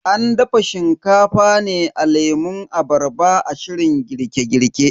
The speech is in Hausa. An dafa Shinkafa ne da lemun abarba a shirin girke girke.